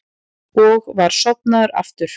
Og var sofnaður aftur.